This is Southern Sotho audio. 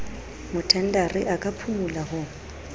mothendari a ka phumola ho